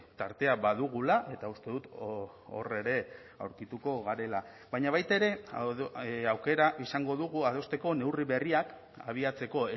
tartea badugula eta uste dut hor ere aurkituko garela baina baita ere aukera izango dugu adosteko neurri berriak abiatzeko